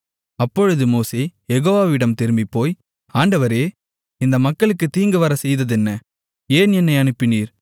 அப்பொழுது மோசே யெகோவாவிடம் திரும்பிப்போய் ஆண்டவரே இந்த மக்களுக்குத் தீங்குவரச்செய்ததென்ன ஏன் என்னை அனுப்பினீர்